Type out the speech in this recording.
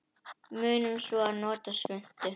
Munum svo að nota svuntu.